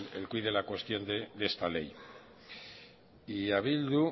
el quid de la cuestión de esta ley y a bildu